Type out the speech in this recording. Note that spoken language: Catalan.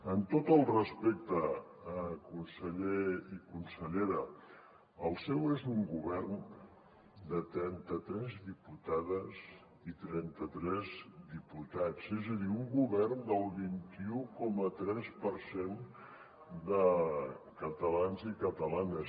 amb tot el respecte conseller i consellera el seu és un govern de trenta tres diputades i trenta tres diputats és a dir un govern del vint un coma tres per cent de catalans i catalanes